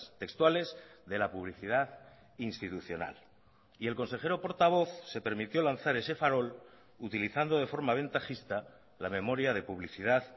textuales de la publicidad institucional y el consejero portavoz se permitió lanzar ese farol utilizando de forma ventajista la memoria de publicidad